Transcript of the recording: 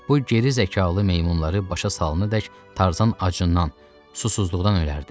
Bu geri zəkalı meymunları başa salınadək Tarzan acından, susuzluqdan ölərdi.